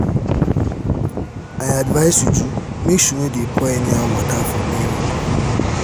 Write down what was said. i advice uju make she no dey pour anyhow water for main road